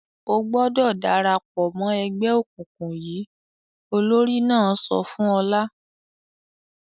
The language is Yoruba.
"O gbọdọ̀ dára pọ̀ mọ́ ẹgbẹ́ òkùnkùn yìí!" Olórí náà sọ fún Ọlá.